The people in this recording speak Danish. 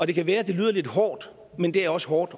det kan være at det lyder lidt hårdt men det er også hårdt